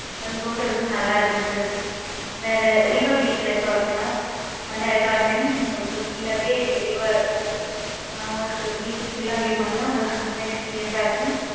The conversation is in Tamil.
அது hotel உம் நல்லா இருக்கும் sir. வேற River beach resort உ அந்த resort ல உங்களுக்கு full ஆவே river~ உம் உங்களுக்கு beach full ஆ view பண்ணலாம், உங்களுக்கு நல்ல experience ஆ இருக்கும்.